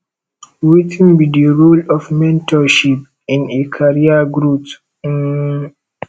wetin be di role of mentorship in a career growth um